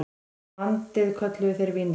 Landið kölluðu þeir Vínland.